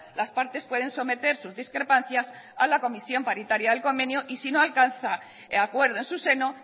las partes pueden someter sus discrepancias a la comisión paritaria de convenio y si no alcanza acuerdo en su seno